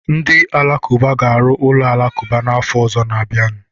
Ndị Alakụba ga-arụ ụlọ alakụba n'afọ ọzọ na-abịanụ.